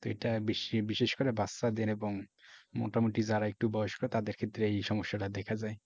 তো এইটা বেশি বিশেষ করে বাচ্চাদের এবং মোটামুটি যারা একটু বয়স্ক তাদের ক্ষেত্রে এই সমস্যাটা দেখা যায়।